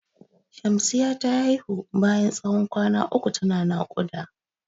Shamsiya ta haihu bayan tsawon kwana uku ta na naƙuda.